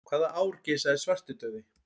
Hvaða ár geisaði svartidauði?